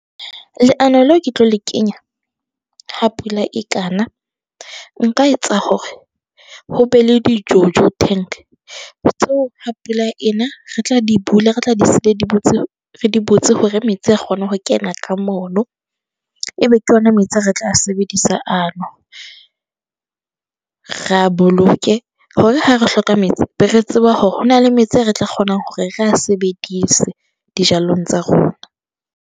Leano leo ke tlo le kenya ha pula e ka na. Nka etsa hore ho be le di-Jojo tank tseo ha pula ena re tla di bula, re tla di siya di butsi, re di butsi hore metsi a kgone ho kena ka mono, ebe ke yona metsi ao re tla a sebedisa ano. Re a boloke hore ha re hloka metsi, be re tseba hore ho na le metsi a re tla kgonang hore re a sebedise dijalong tsa rona.